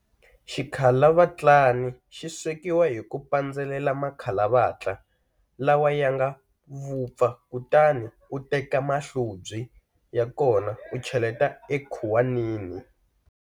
Xikhalavatlani xi swekiwa hi ku pandzelela makhalavatla lawa ya nga vupfa kutani u teka mahlobyi ya kona u cheletela ekhuwanini.